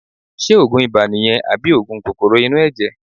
Ṣé òògùn ibà nìyẹn àbí òògùn kòkòrò inú ẹ̀jẹ̀?